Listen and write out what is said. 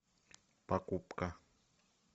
покупка